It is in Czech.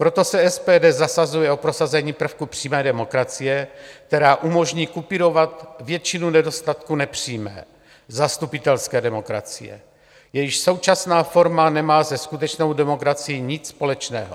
Proto se SPD zasazuje o prosazení prvků přímé demokracie, která umožní kupírovat většinu nedostatků nepřímé zastupitelské demokracie, jejíž současná forma nemá se skutečnou demokracií nic společného.